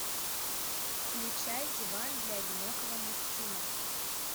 включай диван для одинокого мужчины